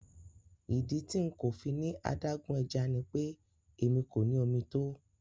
Ìdí tí nkọ̀ fíní adágún ẹ̀já ní pé ẹmi kò ní omi tó.